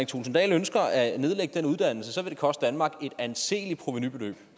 thulesen dahl ønsker at nedlægge den uddannelse så vil det koste danmark et anseligt provenu